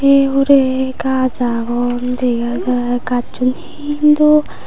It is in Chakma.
eei hurey gaaj agon dega jai gajjun hindu.